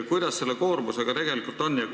Kuidas selle koormusega tegelikult on?